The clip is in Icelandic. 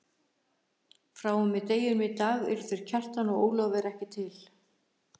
Frá og með deginum í dag eru þeir Kjartan og Ólafur ekki til.